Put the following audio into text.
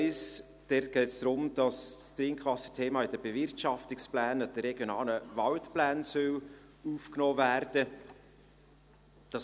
Beim Punkt 1 geht es darum, dass das Trinkwasserthema in die Bewirtschaftungspläne und in die RWP aufgenommen werden soll.